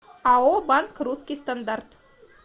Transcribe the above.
ао банк русский стандарт